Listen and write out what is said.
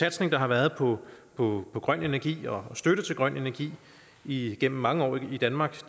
satsning der har været på på grøn energi og støtte til grøn energi igennem mange år i danmark